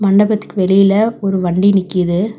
மண்டபத்துக்கு வெளில ஒரு வண்டி நிக்கிது.